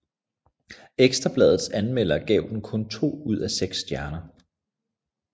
Ekstra Bladets anmelder gav den kun to ud af seks stjerner